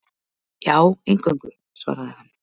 Já, eingöngu, svaraði hann.